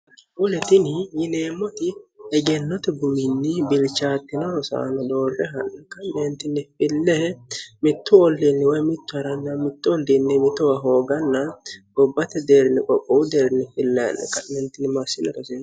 hulitini yineemmoti egennote buminni bilchaattino rosaano doorre hannkinfilee mittu olliinniwoye mittu harann mittoundiinni mitowa hooganna gobbate deerni qophowu deerni fineeninmaassina raseeno